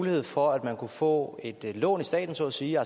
mulighed for at man kunne få et lån af staten så at sige